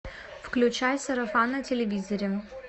включай сарафан на телевизоре